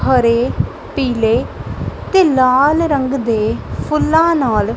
ਹਰੇ ਪੀਲੇ ਤੇ ਲਾਲ ਰੰਗ ਦੇ ਫੁੱਲਾਂ ਨਾਲ --